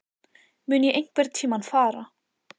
Mun ég einhverntímann fara?